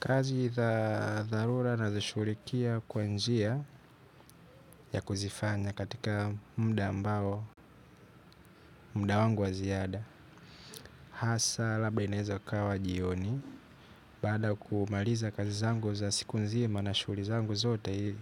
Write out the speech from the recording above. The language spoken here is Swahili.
Kazi za dharura nazishughulikia kwa njia ya kuzifanya katika mda ambao mda wangu wa ziada. Hasa labda inaeza ikawa jioni. Baada ya kumaliza kazi zangu za siku nzima na shughuli zangu zote